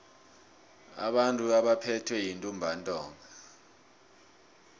abantu abaphethwe yintumbantonga